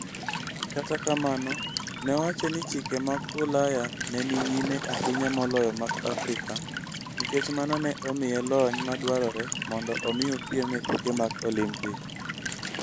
Kata kamano, ne owacho ni chike mag Ulaya ne ni nyime ahinya moloyo mag Afrika nikech mano ne omiye lony madwarore mondo omi opiem e tuke mag Olimpik.